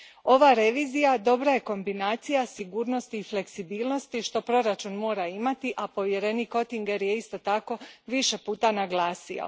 Ova revizija dobra je kombinacija sigurnosti i fleksibilnosti što proračun mora imati, a povjerenik Oettinger ju je isto tako više puta naglasio.